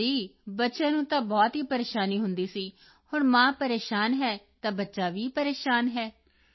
ਹਾਂ ਜੀ ਬੱਚਿਆਂ ਨੂੰ ਤਾਂ ਬਹੁਤ ਹੀ ਪਰੇਸ਼ਾਨੀ ਹੁੰਦੀ ਸੀ ਹੁਣ ਮਾਂ ਪਰੇਸ਼ਾਨ ਹੈ ਤਾਂ ਬੱਚਾ ਵੀ ਪਰੇਸ਼ਾਨ ਹੈ